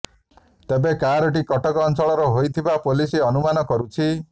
ତେବେ କାର୍ଟି କଟକ ଅଞ୍ଚଳର ହୋଇଥିବା ପୋଲିସ ଅନୁମାନ କରୁଛି